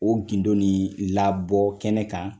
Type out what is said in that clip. O gindo ni labɔ kɛnɛ kan